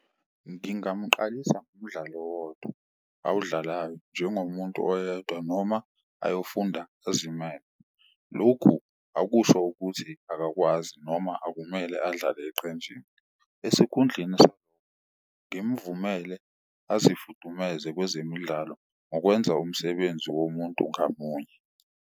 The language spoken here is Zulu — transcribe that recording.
Ngingamqalisa ngomdlalo owodwa awudlalayo njengomuntu oyedwa noma ayofunda azimele, lokhu akusho ukuthi akakwazi noma akumele adlale eqenjini. Esikhundleni ngimvumele azifudumeze kwezemidlalo ngokwenza umsebenzi womuntu ngamunye.